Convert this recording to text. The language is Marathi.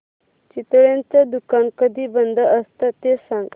चितळेंचं दुकान कधी बंद असतं ते सांग